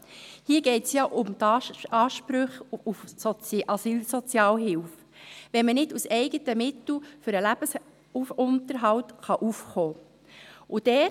Hier geht es um die Ansprüche auf Asylsozialhilfe, wenn man nicht aus eigenen Mitteln für den Lebensunterhalt aufkommen kann.